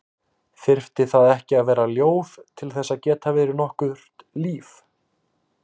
Þyrfti það ekki að vera ljóð til að geta verið nokkurt líf?